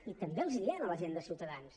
i també els ho diem a la gent de ciutadans